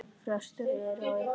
Frestur er á illu bestur!